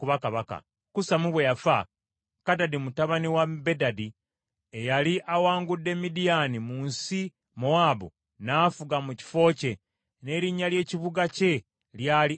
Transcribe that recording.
Kusamu bwe yafa, Kadadi mutabani wa Bedadi, eyali awangudde Midiyaani mu nsi Mowaabu, n’afuga mu kifo kye n’erinnya ly’ekibuga kye lyali Avisi.